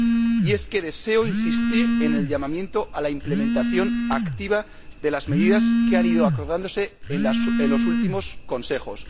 Y es que deseo insistir en el llamamiento a la implementación activa de las medidas que han ido acordándose en los últimos Consejos.